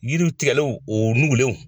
Yiri tigɛlenw o nugulenw